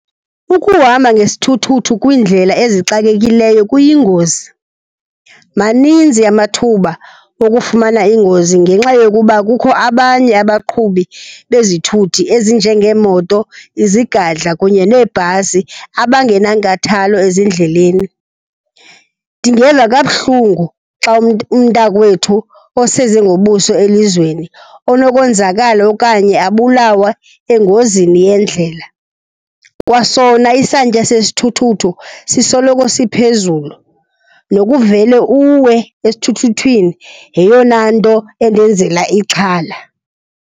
Ukuhamba ngesithuthuthu kwiindlela ezixakekileyo kuyingozi. Maninzi amathuba okufumana iingozi ngenxa yokuba kukho abanye abaqhubi bezithuthi ezinjengeemoto, izigadla kunye neebhasi abangenankathalo ezindleleni. Ndingeva kabuhlungu xa umntakwethu oseze ngobuso elizweni onokwenzakala okanye abulawe engozini yendlela. Kwasona isantya sesithuthuthu sisoloko siphezulu, nokuvele uwe esithuthuthini yeyona nto endenzela ixhala.